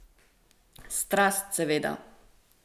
Strast, seveda.